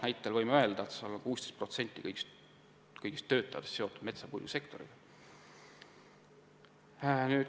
Näiteks Võrumaal on 16% kõigist töötajatest seotud metsa- ja puidusektoriga.